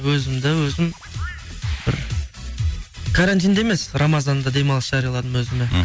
өзімді өзім бір карантинде емес рамазанда демалыс жарияладым өзіме мхм